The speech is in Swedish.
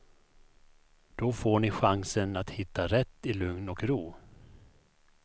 Då får ni chansen att hitta rätt i lugn och ro.